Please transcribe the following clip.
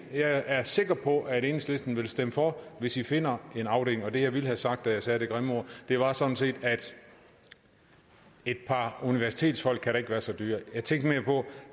jeg er sikker på at enhedslisten vil stemme for hvis vi finder en afdeling og det jeg ville have sagt da jeg sagde det grimme ord var sådan set at et par universitetsfolk da ikke kan være så dyre jeg tænkte mere på